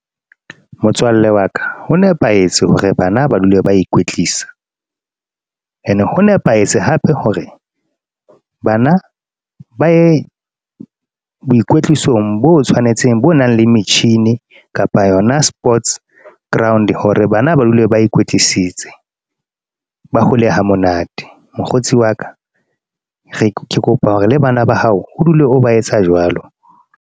Motswalle wa ka ho nepahetse hore bana ba dule ba ikwetlisa, ene ho nepahetse hape hore bana ba ye boikwetlisong bo tshwanetseng bo nang le metjhini kapa yona sports ground. Hore bana ba dule ba kwetlisitse ba hole ha monate. Mokgotsi wa ka ke kopa hore le bana ba hao ho dule o ba etsa jwalo.